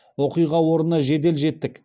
оқиға орнына жедел жеттік